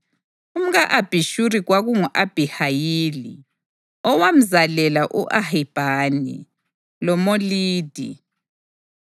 Umka-Abhishuri kwakungu-Abhihayili, owamzalela u-Ahibhani loMolidi.